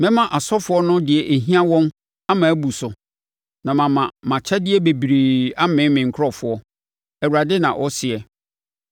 Mɛma asɔfoɔ no deɛ ɛhia wɔn ama abu so, na mama mʼakyɛdeɛ bebrebe amee me nkurɔfoɔ,” Awurade, na ɔseɛ.